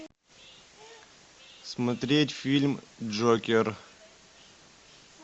смотреть фильм джокер